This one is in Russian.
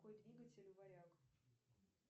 какой двигатель у варяг